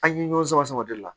An ye ɲɔgɔn sama sama o de la